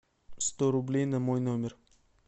сто рублей на мой номер